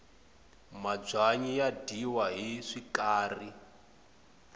mabyanyi ya dyiwa hi swikari